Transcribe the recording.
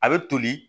A bɛ toli